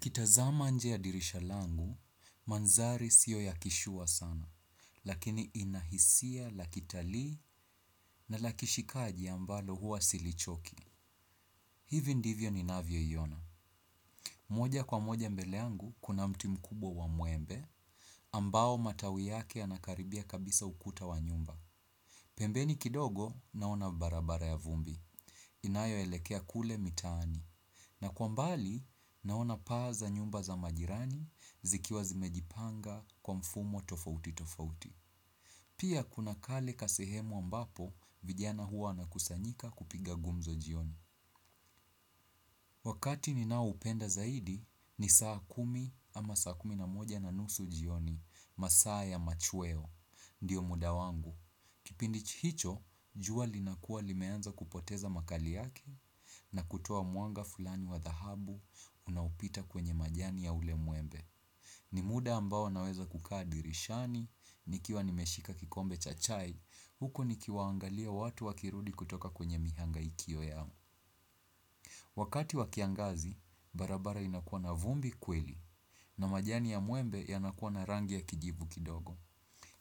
Kitazama nje ya dirisha langu, mandhari sio ya kishua sana. Lakini ina hisia la kitalii na la kishikaji ambalo huwa silichoki. Hivi ndivyo ninavyoiona. Moja kwa moja mbele yangu, kuna mti mkubwa wa muembe. Ambao matawi yake yanakaribia kabisa ukuta wa nyumba. Pembeni kidogo naona barabara ya vumbi. Inayoelekea kule mitaani. Na kwa mbali naona paa za nyumba za majirani zikiwa zimejipanga kwa mfumo tofauti tofauti. Pia kuna kale kasehemu ambapo vijana huwa wanakusanyika kupiga gumzo jioni. Wakati ninaoupenda zaidi ni saa kumi ama saa kumi na moja na nusu jioni masaa ya machweo. Ndiyo muda wangu. Kipindi hicho, jua linakuwa limeanza kupoteza makali yake na kutoa mwanga fulani wa dhahabu unaopita kwenye majani ya ule muembe. Ni muda ambao naweza kukaa dirishani, nikiwa nimeshika kikombe cha chai, huku nikiwaangalia watu wakirudi kutoka kwenye mihangaikio yao. Wakati wa kiangazi, barabara inakuwa na vumbi kweli, na majani ya muembe yanakuwa na rangi ya kijivu kidogo.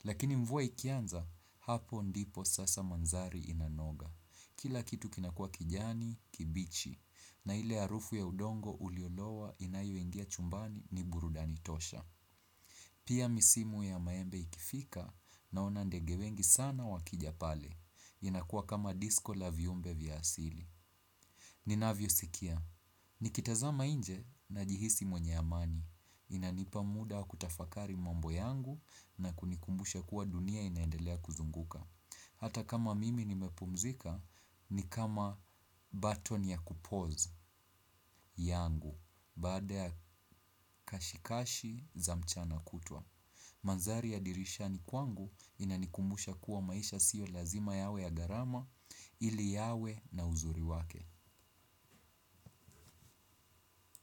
Lakini mvua ikianza, hapo ndipo sasa mandhari inanoga. Kila kitu kinakua kijani, kibichi, na ile harufu ya udongo uliolowa inayoingia chumbani ni burudani tosha. Pia misimu ya maembe ikifika naona ndege wengi sana wakija pale. Inakua kama disco la viumbe vya asili. Ninavyosikia. Nikitazama nje najihisi mwenye amani. Inanipa muda wa kutafakari mambo yangu na kunikumbusha kuwa dunia inaendelea kuzunguka. Hata kama mimi nimepumzika, ni kama button ya kupause yangu. Baada ya kashikashi za mchana kutwa. Mandhari ya dirishani kwangu inanikumbusha kuwa maisha siyo lazima yawe ya gharama ili yawe na uzuri wake.